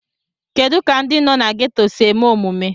Kedu ka ndị nọ na gétò si eme omume